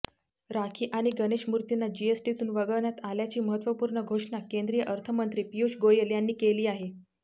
राखी आणि गणेशमूर्तींना जीएसटीतून वगळण्यात आल्याची महत्त्वपूर्ण घोषणा केंद्रीय अर्थमंत्री पीयूष गोयल यांनी केली आहे